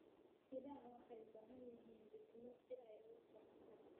Idaha waxay u baahan yihiin diidmo si ay u koraan.